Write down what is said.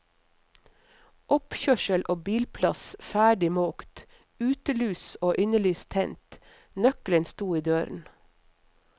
Oppkjørsel og bilplass ferdig måkt, utelys og innelys tent, nøkkelen sto i døren.